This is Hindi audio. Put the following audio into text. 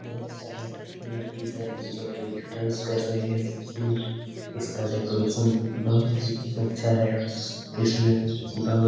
लड़की है जो कि डांस कर रही है। इसका डेकोरेशन बहुत ही अच्छा है। इसमें बहुत --